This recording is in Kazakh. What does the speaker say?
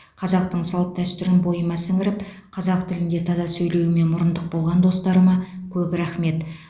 қазақтың салт дәстүрін бойыма сіңіріп қазақ тілінде таза сөйлеуіме мұрындық болған достарыма көп рахмет